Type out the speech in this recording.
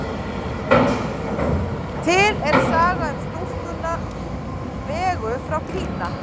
Til er saga um stúlkuna Vegu frá Kína.